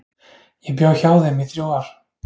Ég bjó hjá þeim í þrjú ár.